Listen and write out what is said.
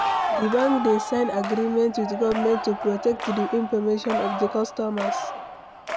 Di banks dey sign agreement with government to protect di information of di customers